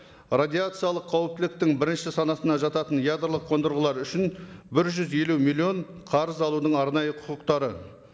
радиациялық қауіптіліктің бірінші санатына жататын ядролық қондырғылар үшін бір жүз елу миллион қарыз алудың арнайы құқықтары